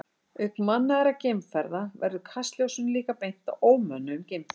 Auk mannaðra geimferða verður kastljósinu líka beint að ómönnuðum geimförum.